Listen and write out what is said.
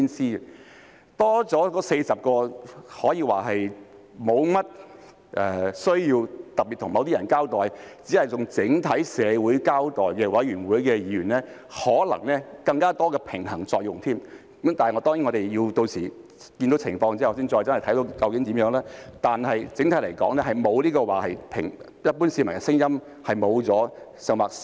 新增的40席可說是沒有需要特別向某些人交代，只須向整體社會交代的選舉委員會議員，可能會發揮更多的平衡作用；但當然，我們屆時要看看情況才知道是怎樣，但整體而言，這不會令一般市民的聲音消失或減少。